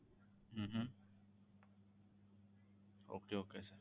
hmm okay okay sir